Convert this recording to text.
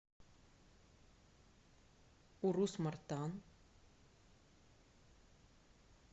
урус мартан